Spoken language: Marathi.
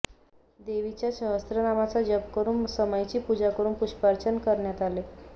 देवीच्या सहस्त्रनामाचा जप करुन समईची पुजा करुन पुष्पार्चन करण्यात आले